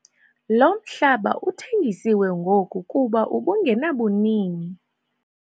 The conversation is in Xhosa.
Lo mhlaba uthengisiwe ngoku kuba ubungenabunini.